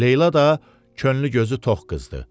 Leyla da könlü gözü tox qızdır.